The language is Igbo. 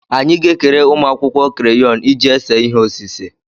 Anyị ga-ekere ụmụ akwụkwọ kreyọnụ iji ese ihe osise.